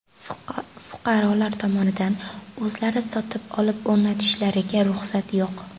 Fuqarolar tomonidan o‘zlari sotib olib o‘rnatishlariga ruxsat yo‘q.